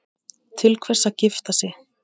Til hvers að gifta sig?